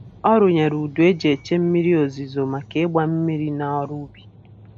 Ọ rụnyere udu e ji eche mmiri ozuzo maka ịgba mmiri na ọrụ ubi